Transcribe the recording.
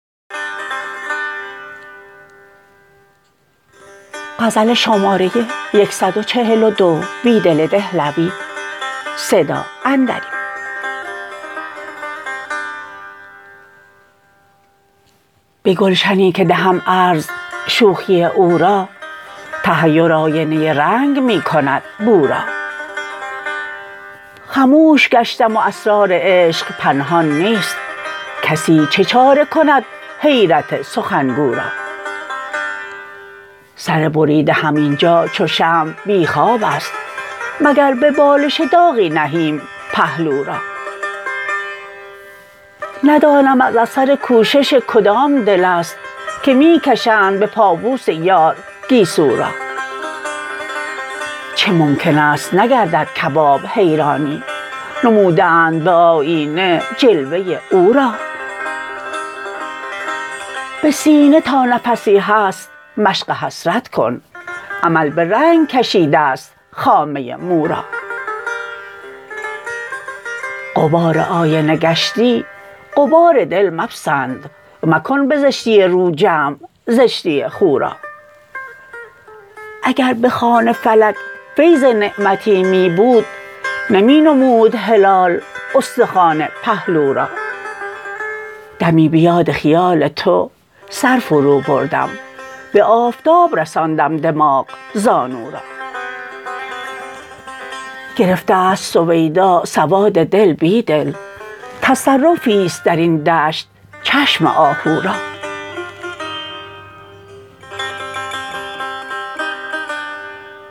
به گلشنی که دهم عرض شوخی او را تحیر آینه رنگ می کند بو را خموش گشتم و اسرار عشق پنهان نیست کسی چه چاره کند حیرت سخنگو را سر بریده هم اینجا چو شمع بی خواب است مگر به بالش داغی نهیم پهلو را ندانم از اثر کوشش کدام دل است که می کشند به پابوس یار گیسو را چه ممکن است نگردد کباب حیرانی نموده اند به آیینه جلوه او را به سینه تا نفسی هست مشق حسرت کن امل به رنگ کشیده ست خامه مو را غبار آینه گشتی غبار دل مپسند مکن به زشتی رو جمع زشتی خو را اگر به خوان فلک فیض نعمتی می بود نمی نمود هلال استخوان پهلو را دمی به یاد خیال تو سر فروبردم به آفتاب رساندم دماغ زانو را گرفته است سویدا سواد دل بیدل تصرفی ست درین دشت چشم آهو را